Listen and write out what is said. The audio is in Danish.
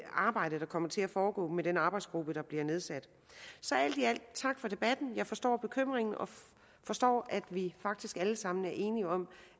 arbejde der kommer til at foregå i den arbejdsgruppe som bliver nedsat så alt i alt tak for debatten jeg forstår bekymringen og forstår at vi faktisk alle sammen er enige om